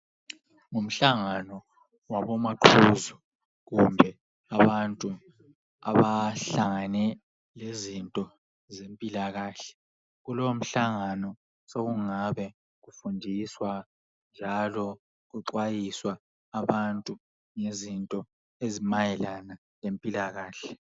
Umhlangano wabomaqhuzu kumbe abantu abahlangane lezinto zempilakahle. kulomhlangano sokungabe kufundiswa njalo ukuxwayisa abantu ngezinto ezimayelana lempilakahle.